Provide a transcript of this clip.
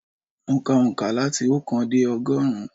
Mo ka òǹkà láti oókan dé ọgọ́rùn-ún.